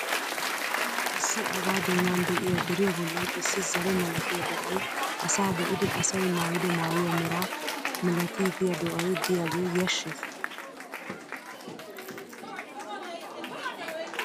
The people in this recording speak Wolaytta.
Issi abaa doonan de'iya deriya bollan issi zare malatiya do'ay asa be'idi asayi maayido maayuwa meraa milatiigiya do'ayi diyagee yashshees.